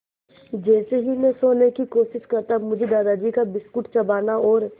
जैसे ही मैं सोने की कोशिश करता मुझे दादाजी का बिस्कुट चबाना और